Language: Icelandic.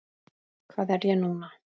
Hvað er ég núna?